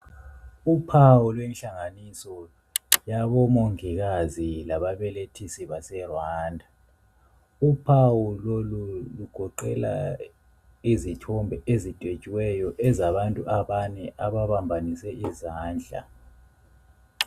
Uphawu lwenhlanganiso yabomongikazi lababelethisi baseRwanda. Uphawu lolu lugoqela izithombe ezidwetshiweyo ezabantu abane ababambanise izandla.